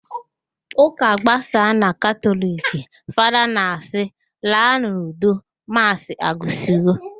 Ụka gbasaa na Katọliki, Fada na-asị, "laanụ n'udo, maasị agwụsiwo"